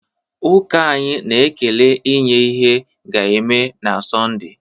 Ụka anyị na-ekele inye ihe ga-eme na Sọnde